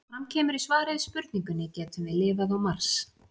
Eins og fram kemur í svari við spurningunni Getum við lifað á Mars?